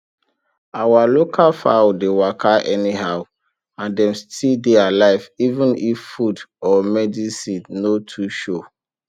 our local fowl dey waka anyhow and dem still dey alive even if food or medicine no too show